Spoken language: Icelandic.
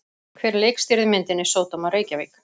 Hver leikstýrði myndinni Sódóma Reykjavík?